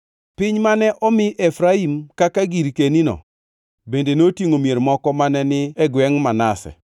Piny mane omi Efraim kaka girkenino bende notingʼo mier moko mane ni e gwengʼ Manase.